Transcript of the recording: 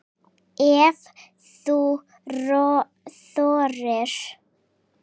Ef þú þorir!